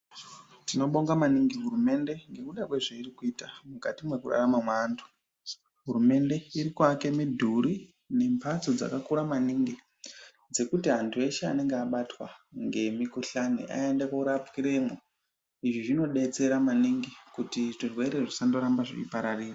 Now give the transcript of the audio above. Tinobonga maningi hurumende nemaererano nezvairi kuita mukati mekurarama kevantu. hurumende irikuvaka midhuri dzekuti muntu wehe anenge abatwa nemukuhlani aende kunorapirwemo, izvi zvinobetsera maningi kuti zvirwere zvisarambe zvichipararira.